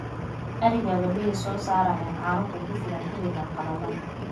arigaaga miyee soo saarayaan caano kugu filan xilligan qalalan